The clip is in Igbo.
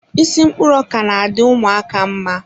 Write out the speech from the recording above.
Isi mkpụrụ ọka na-adị ụmụaka mma.